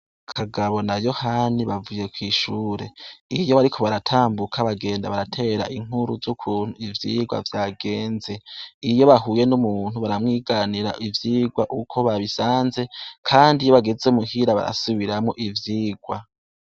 Kagabo na Yohani bavuye kwishure, iyo bariko baratambuka bagenda baratera inkuru z'ukuntu ivyigwa vyagenze, iyo bahuye n'umuntu baramwiganira ivyigwa uko babisanze, kandi iyo bageze muhira barasubiramwo ivyigwa.